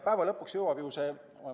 Päeva lõpuks jõuab see ...